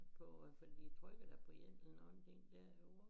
På øh for de trykkede da på én eller nogen ting der over